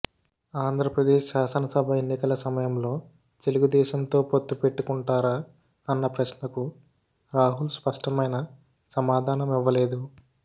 ఆంధ్రప్రదేశ్ శాసనసభ ఎన్నికల సమయంలో తెలుగుదేశంతో పొత్తు పెట్టుకుంటారా అన్న ప్రశ్నకు రాహుల్ స్పష్టమైన సమాధానం ఇవ్వలేదు